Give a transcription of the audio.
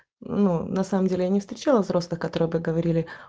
ну на самом деле я не встречала взрослых которые бы говорил